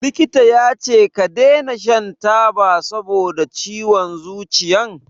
Likita yace ka dena shan taba saboda ciwon zuciyan?